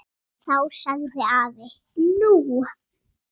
Þá sagði afi: Nú?